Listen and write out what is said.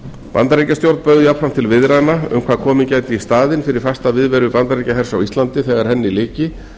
bandaríkjastjórn bauð jafnframt til viðræðna um hvað gæti komið í staðinn fyrir fasta viðveru bandaríkjahers á íslandi þegar henni lyki